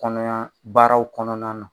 Kɔnɔya baaraw kɔnɔna na